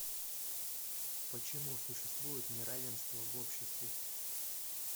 почему существует неравенство в обществе